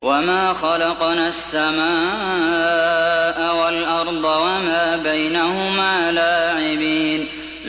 وَمَا خَلَقْنَا السَّمَاءَ وَالْأَرْضَ وَمَا بَيْنَهُمَا لَاعِبِينَ